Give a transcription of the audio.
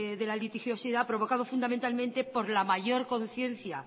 de la litigiosidad provocado fundamentalmente por la mayor conciencia